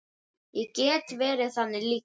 Ég get verið þannig líka.